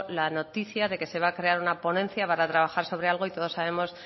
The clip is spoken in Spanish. la noticia de que se va a crear una ponencia para trabajar sobre algo y todos sabemos